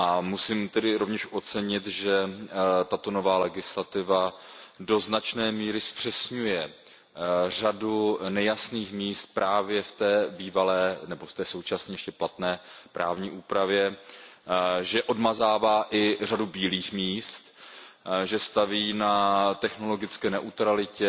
Musím tedy rovněž ocenit, že tato nová legislativa do značné míry zpřesňuje řadu nejasných míst právě v té bývalé nebo v té v současnoti ještě platné právní úpravě, že odmazává i řadu bílých míst, že staví na technologické neutralitě.